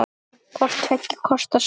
Hvort tveggja kostar slag.